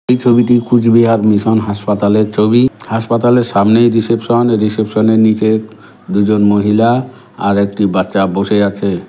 এই ছবিটি কুচবিহার মিশন হাসপাতালে ছবি হাসপাতালে সামনেই রিসেপশন রিসেপশন -এর নীচে দুজন মহিলা আরেকটি বাচ্চা বসে আছে।